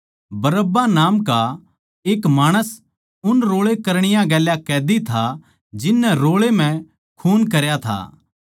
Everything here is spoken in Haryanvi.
बरअब्बा नाम का एक माणस उन रोळे करणीया गेल्या कैदी था जिन नै रोळे म्ह खून करया था